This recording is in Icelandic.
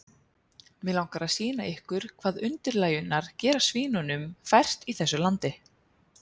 Mig langar að sýna ykkur hvað undirlægjurnar gera svínunum fært í þessu landi.